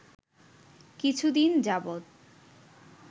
কিছুদিন যাবৎ